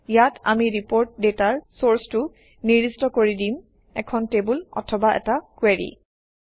ইয়াত আমি ৰিপৰ্ট ডাটাৰ চৰ্চটো নিৰ্দিষ্ট কৰি দিম - এখন টেবুল অথবা এটা কুৱেৰি